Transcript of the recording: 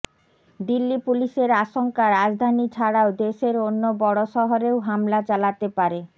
দিল্লি পুলিসের আশঙ্কা রাজধানী ছাড়াও দেশের অন্য বড় শহরেও হামলা চালাতে পারে